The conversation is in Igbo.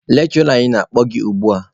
Lekshụra anyị na-akpọ gị ugbua!